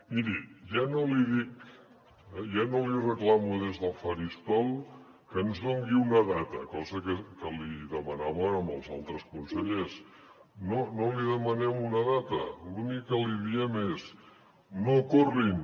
miri ja no li dic ja no li reclamo des del faristol que ens doni una data cosa que li demanàvem als altres consellers no li demanem una data l’únic que li diem és no corrin